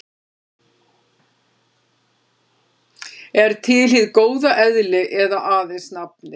Er til hið góða eðli eða aðeins nafnið?